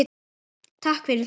Takk fyrir þau.